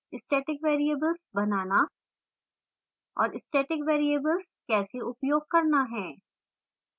static variables बनाना और static variables कैसे उपयोग करना है